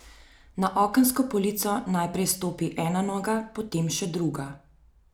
Na okensko polico najprej stopi ena noga, potem še druga.